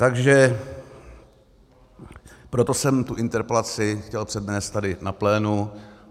Takže proto jsem tu interpelaci chtěl přednést tady na plénu.